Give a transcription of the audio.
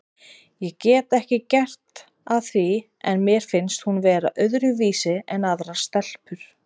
Ég get ekki gert að því en mér finnst hún vera öðruvísi en aðrar stelpur.